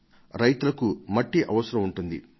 పొలంలో పంట పండించేందుకు ఆ మట్టి అవసరం ఉంటుంది